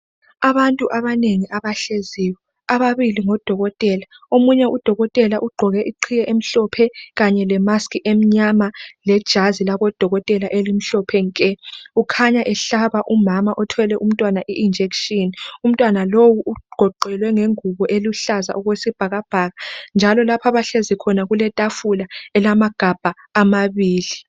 abantu abanengi abahleziyo ababili ngodokotela omunye u dokotela ugqoke iqhiye emhlophe kanye le mask emnyama le jazi labo dokotela elimhlophe nke ukhanya ehlaba umama othwele umntwana i injection umntwana lowu ugoqelwe ngengubo eluhlaza okwesibhakabhaka njalo lapho abahlezi khona kuletafula elamagabha amabili